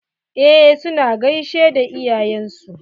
Eh su na gaishe da iyayen su.